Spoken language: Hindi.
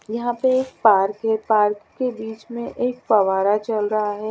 यहाँ पे एक पार्क है पार्क के बिच में एक फवारा चल रहा है।